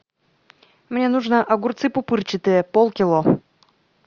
мне нужно огурцы пупырчатые полкило